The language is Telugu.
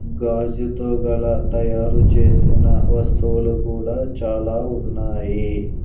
గాజుతో గల తయారుచేసిన వస్తువులు కూడా చాలా ఉన్నాయి.